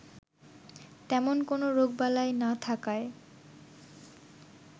তেমন কোনো রোগবালাই না থাকায়